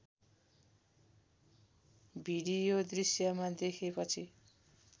video दृश्यमा देखेपछि